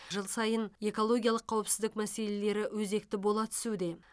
жыл сайын экологиялық қауіпсіздік мәселелері өзекті бола түсуде